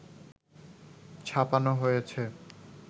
ছাপানো হয়েছে